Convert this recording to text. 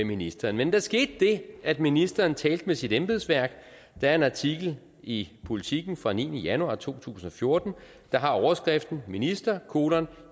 ministeren men der skete det at ministeren talte med sit embedsværk der er en artikel i politiken fra niende januar to tusind og fjorten der har overskriften minister